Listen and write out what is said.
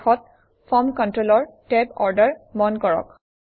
শেষত ফৰ্ম কণ্ট্ৰলৰ Tab order মন কৰক